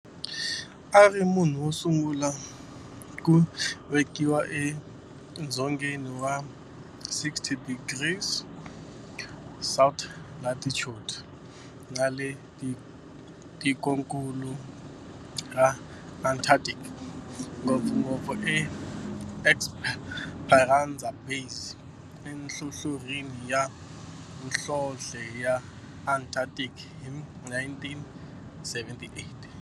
A ri munhu wosungula ku velekiwa edzongeni wa 60 degrees south latitude nale ka tikonkulu ra Antarctic, ngopfungopfu eEsperanza Base enhlohlorhini ya nhlonhle ya Antarctic hi 1978.